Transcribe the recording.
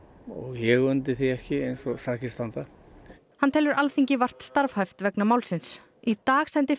ég undi því ekki eins og sakir standa hann telur Alþingi vart starfhæft vegna málsins í dag sendi